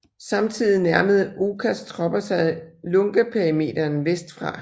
Samtidig nærmede Okas tropper sig Lungaperimeteren vest fra